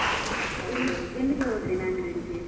ಎಲ್ಲಿಗ್~ ಎಲ್ಲಿಗೆ ಹೋದ್ರಿ Mangalore ಗೆ?